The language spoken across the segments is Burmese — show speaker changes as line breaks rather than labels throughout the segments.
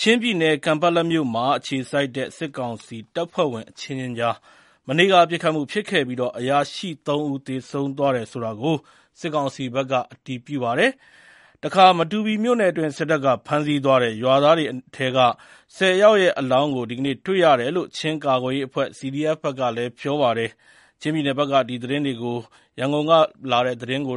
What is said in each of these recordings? ချင်းပြည်နယ် ကန်ပက်လက်မြို့ အခြေစိုက်တဲ့ စစ်ကောင်စီတပ်ဖွဲ့ဝင် အချင်းချင်းကြား မနေ့က ပစ်ခတ်မှုဖြစ်ခဲ့ပြီး အရာရှိ ၃ ဦး သေဆုံးသွားတယ်ဆိုတာကို စစ်ကောင်စီဘက်က အတည်ပြုပါတယ်။ မတူပီမြို့နယ်အတွင်း စစ်တပ်က ဖမ်းဆီးသွားတဲ့ ရွာသားတွေအနက် ၁၀ ဦးရဲ့ အလောင်းကို ဒီကနေ့ တွေ့ရတယ်လို့ ချင်းကာကွယ်ရေးအဖွဲ့ (CDF) ဘက်က ပြောပါတယ်။ ချင်းပြည်နယ်ဘက်ကသတင်း ရန်ကုန်က ပေးပို့ထားတာကို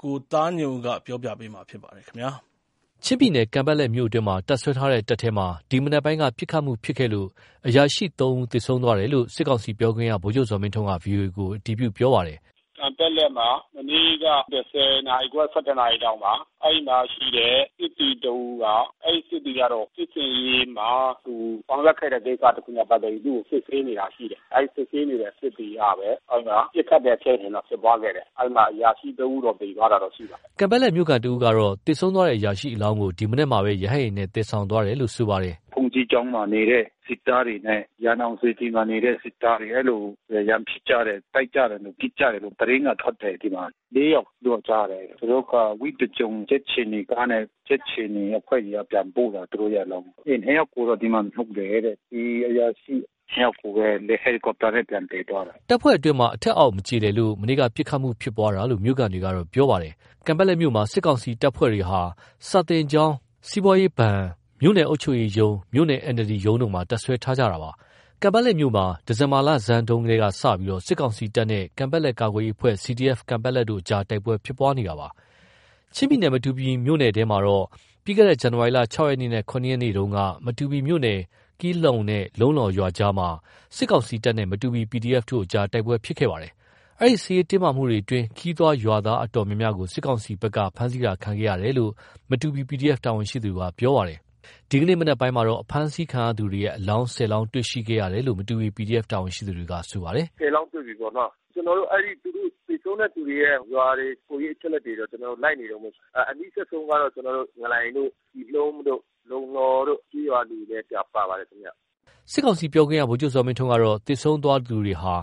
ကိုသားညွန့်ဦး ပြောပြမှာပါ။ ချင်းပြည်နယ် ကန်ပက်လက်မြို့အတွင်းမှာ တပ်စွဲထားတဲ့ စစ်တပ်ထဲ ဒီမနက်ပိုင်းက ပစ်ခတ်မှုဖြစ်ပွားခဲ့လို့ အရာရှိ ၃ ဦး သေဆုံးသွားတယ်လို့ စစ်ကောင်စီပြောခွင့်ရ ဗိုလ်ချုပ်ဇော်မင်းထွန်းက ဗွီအိုအေကို အတည်ပြု ပြောဆိုပါတယ်။
“ကန်ပက်လက်မှာ မနေ့က ၁၀ နာရီခွဲ ၁၁ နာရီလောက်မှာ အဲဒီမှာရှိတဲ့ စစ်သည်တဦးက ၊ အဲဒီ စစ်သည်ကတော့ စစ်ဆင်ရေးမှာ သူဆောင်ရွက်ခဲ့တဲ့ကိစ္စနဲ့ ပတ်သက်ပြီးတော့ သူ့ကို စစ်ဆေးနေတာရှိတယ်။ အဲဒီ စစ်ဆေးနေတဲ့ စစ်သည်ကပဲ ပစ်ခတ်တဲ့ဖြစ်စဉ်တော့ ဖြစ်ပွားခဲ့တယ်။ အဲဒီမှာ အရာရှိ ၃ ဦးတော့ သေသွားတာတော့ ရှိပါတယ
်။” ကန်ပက်လက်မြို့ခံ တဦးကတော့ သေဆုံးသွားတဲ့ အရာရှိအလောင်းကို ဒီမနက်မှာ ရဟတ်ယာဉ်နဲ့ သယ်ဆောင်သွားတယ်လို့ ပြောပါတယ်။
“ဘုန်းကြီးကျောင်းမှာနေတဲ့ စစ်သားတွေနဲ့ ရန်အောင်စေတီမှာနေတဲ့ စစ်သားတွေ အဲဒီလို ရန်ဖြစ်ကြတယ်။ တိုက်ကြတယ်၊ ပစ်ကြတယ်လို့ အဲဒီလို သတင်းက ထွက်နေတယ်။ ၄ ယောက်လို့ ကြားတယ်။ သူတို့က ဝိသကြုံကြက်ခြေနီကားနဲ့ ကြက်ခြေနီအဖွဲ့တွေက ပြန်ပို့တယ်လို့ ကြားတယ်၊ သူတို့ရဲ့အလောင်း။ နှစ်ယောက်ကိုတော့ ဒီမှာမြှုပ်တယ်တဲ့။ ဒီအရာရှိ နှစ်ယောက်ကိုပဲ ဟယ်လီကော်ပတာနဲ့ ပြန်သယ်သွားတယ်
။ ၁၁ နာရီခွဲမှာ အဲဒီအရာရှိနှစ်ယောက်ရဲ့ အလောင်းကို ပြန်သယ်သွားတယ်။” တပ်ဖွဲ့အတွင်း အထက်အောက် မကျေလည်လို့ မနေ့က ပစ်ခတ်မှု ဖြစ်ပွားတာလို့ မြို့ခံတွေက ပြောပါတယ်။ ကန်ပက်လက်မြို့မှာ စစ်ကောင်စီ တပ်ဖွဲ့ဝင်တွေက စာသင်ကျောင်း၊ စီးပွားရေးဘဏ်၊ မြို့နယ်အုပ်ချုပ်ရေးရုံး၊ မြို့နယ် NLD ရုံးတို့မှာ တပ်စွဲထားတာပါ။ ကန်ပက်လက်မြို့မှာ ဒီဇင်ဘာ လဆန်းပိုင်းကစပြီး စစ်ကောင်စီတပ်နဲ့ ကန်ပက်လက် ကာကွယ်ရေးအဖွဲ့ (CDF Kanpetlet) တို့ တိုက်ပွဲဖြစ်ပွားနေပါတယ်။ ချင်းပြည်နယ် မတူပီမြို့နယ်ထဲမှာတော့ ပြီးခဲ့တဲ့ ဇန်နဝါရီ ၆ ရက်နေ့နဲ့ ၇ ရက်နေ့တုန်းက မတူပီမြို့နယ် ကီလှုန်းနဲ့ လုံလှောရွာကြားမှာ စစ်ကောင်စီတပ်နဲ့ မတူပီ PDF တို့ကြား တိုက်ပွဲဖြစ်ပွားခဲ့တာပါ။ အဲဒီ စစ်ရေးတင်းမာမှုအတွင်း ခရီးသွား ရွာသားအတော်များများ စစ်ကောင်စီတပ်ရဲ့ ဖမ်းဆီးမှုကို ခံရတယ်လို့ မတူပီ PDF တာဝန်ရှိသူက ပြောပါတယ်။ ဒီနေ့မနက်မှာ အဖမ်းဆီးခံရသူတွေရဲ့ အလောင်း ၁၀ လောင်း တွေ့ရှိခဲ့တယ်လို့ မတူပီ PDF တာဝန်ရှိသူ တဦးက ပြောပါတယ်
။ “ခုလောလောဆယ် ကျနော်တို့ ၁၀ လောင်းတွေ့ပြီပေါ့နာ်။ ကျနော်တို့ အဲဒီ သေဆုံးတဲ့သူတွေရဲ့ ရွာတွေ၊ ကိုယ်ရေးအချက်အလက်တွေ ကျနော်တို့ လိုက်နေတုန်းပဲ။ အနီးစပ်ဆုံးကတော့ ကျနော်တို့ ငလိုင်တို့ ကီလှုန်းတို့ လုံလှောတို့ ကျေးရွာတွေပဲ ပါပါတယ်ခင်ဗျ။
” စစ်ကောင်စီပြောခွင့်ရ ဗိုလ်ချုပ်ဇော်မင်းထွန်းကတော့ သေဆုံးတဲ့သူတွေဟာ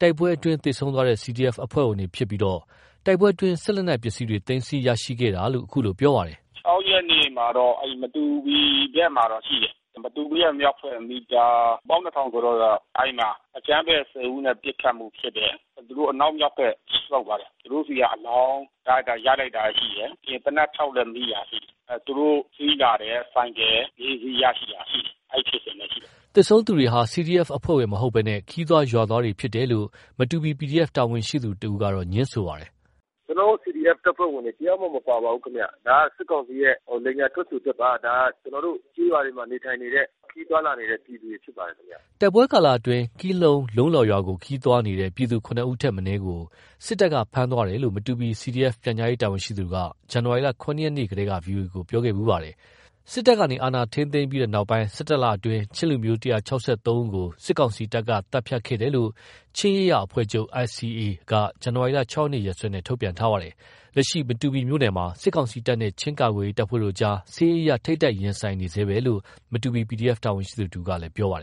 တိုက်ပွဲအတွင်း သေဆုံးသွားတဲ့ CDF အဖွဲ့ဝင်တွေဖြစ်ပြီး တိုက်ပွဲအတွင်း စစ်လက်နက်ပစ္စည်းတွေ သိမ်းဆည်းရရှိခဲ့တယ်လို့ အခုလိုပြောပါတယ်
။ “၆ ရက်နေ့မှာတော့ အဲဒီ မတူပီဘက်မှာတော့ ရှိတယ်။ မတူပီရဲ့မြောက်ဘက် မီတာ ၁၂,၀၀၀ ကျော်လောက်က အဲဒီမှာ အကြမ်းဖက် ၁၀ ဦးနဲ့ ပစ်ခတ်မှုဖြစ်တယ်။ သူတို့ အနောက်မြောက်ဘက် ဆုတ်သွားတယ်။ သူတို့ဆီက အလောင်းရလိုက်တာ ရှိတယ်။ ပြီးရင် သေနတ် ၆ လက်မိတာ ရှိတယ်။ သူတို့စီးလာတဲ့ ဆိုင်ကယ် ၄ စီး ရလိုက်တာရှိတယ်။ အဲဒီဖြစ်စဉ်ပဲရှိတယ်
။” သေဆုံးသူတွေဟာ CDF အဖွဲ့ဝင်တွေ မဟုတ်ဘဲ ခရီးသွား ရွာသားတွေသာ ဖြစ်တယ်လို့ မတူပီ PDF တာဝန်ရှိသူတဦးက ငြင်းဆိုပါတယ်။
“ကျနော်တို့ CDF တပ်ဖွဲ့ဝင်တွေ တယောက်မှ မပါပါဘူးဗျ။ ဒါက စစ်ကောင်စီရဲ့ လိမ်ညာထွက်ဆိုချက်ပါ။ ဒါ ကျနော်တို့ ကျေးရွာတွေမှာ နေထိုင်နေတဲ့ ခရီးသွားလာနေတဲ့သူတွေ ဖြစ်ပါတယ်ခင်ဗျ။
” တိုက်ပွဲကာလအတွင်း ကီလှုန်း၊ လုံလှောရွာကို ခရီးသွားနေတဲ့ ပြည်သူ ၇ ဦးထက် မနည်းကို စစ်တပ်က ဖမ်းသွားတယ်လို့ မတူပီ CDF ပြန်ကြားရေးတာဝန်ရှိသူက ဇန်နဝါရီ ၇ ရက်နေ့တုန်းက ဗွီအိုအေကို ပြောခဲ့ပါတယ်။ စစ်တပ်ကနေ အာဏာ ထိန်းသိမ်းခဲ့ပြီးတဲ့နောက် ၁၁ လအတွင်း ချင်းလူမျိုး ၁၆၃ ဦးကို စစ်ကောင်စီတပ်က သတ်ဖြတ်ခဲ့တယ်လို့ ချင်းရေးရာအဖွဲ့ချုပ် (ICA)က ဇန်နဝါရီ ၆ ရက်နေ့ ရက်စွဲနဲ့ သတင်းထုတ်ပြန်ထားပါတယ်။ လက်ရှိ မတူပီမြို့နယ်မှာ စစ်ကောင်စီတပ်နဲ့ ချင်းကာကွယ်ရေးတပ်ဖွဲ့တို့အကြား စစ်ရေးအရ ထိပ်တိုက် ရှိနေဆဲပဲလို့ မတူပီ PDF တာဝန်ရှိသူတဦးက ပြောပါတယ်။